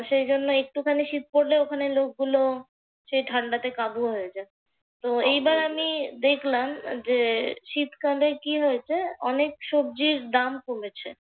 সেইজন্য একটুখানি শীত পড়লেই ওখানের লোকগুলো সেই ঠান্ডাতে কাবু হয়ে যায়। তো এইবার আমি দেখলাম যে শীতকালে কি হয়েছে অনেক সবজির দাম কমেছে।